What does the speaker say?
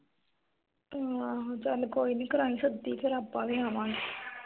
ਆਹੋ ਚਲ ਕੋਈ ਨੀ ਕਰਾਈ ਸੱਦੀ ਫਿਰ ਆਪ ਵੀ ਆਵਾਂਗੇ